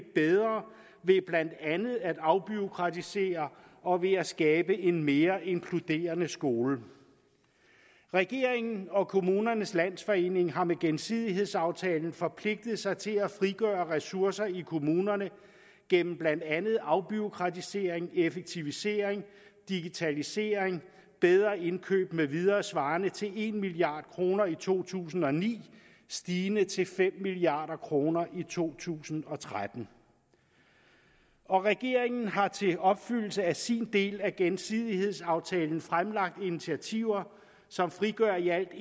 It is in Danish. bedre ved blandt andet at afbureaukratisere og ved at skabe en mere inkluderende skole regeringen og kommunernes landsforening har med gensidighedsaftalen forpligtet sig til at frigøre ressourcer i kommunerne gennem blandt andet afbureaukratisering effektivisering digitalisering bedre indkøb med videre svarende til en milliard kroner i to tusind og ni stigende til fem milliard kroner i to tusind og tretten og regeringen har til opfyldelse af sin del af gensidighedsaftalen fremlagt initiativer som frigør i alt